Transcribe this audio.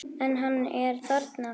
En hann er þarna.